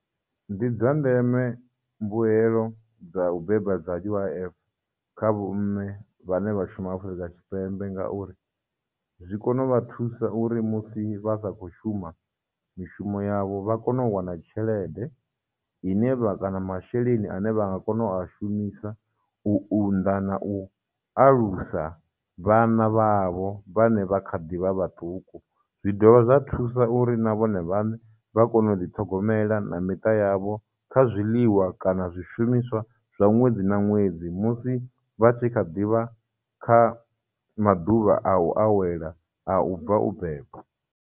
Ndi dza ndeme mbuelo dza u beba dza U_I_F kha vho mme vhane vha shuma Afurika Tshipembe, ngauri zwi kona u vha thusa uri musi vha sa khou shuma mishumo yavho, vha kone u wana tshelede ine vha kana masheleni ane vha nga kona u a shumisa u unḓa na u alusa vhana vhavho vhane vha kha ḓivha vhaṱuku, zwi dovha zwa thusa uri na vhone vhaṋe vha kone u ḓi ṱhogomela na miṱa yavho kha zwiḽiwa kana zwishumiswa zwa ṅwedzi na ṅwedzi musi vha tshi kha ḓivha kha maḓuvha a u awela a u bva u beba.